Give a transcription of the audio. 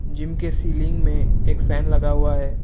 Gym के ceiling में एक फैन लगा हुआ है।